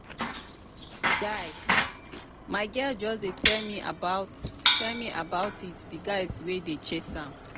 guy my girl just dey tell me about tell me about it the guys wey dey chase am.